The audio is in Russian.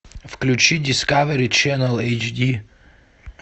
включи дискавери ченэл эйч ди